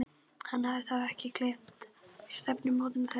Hann hafði þá ekki gleymt stefnumóti þeirra.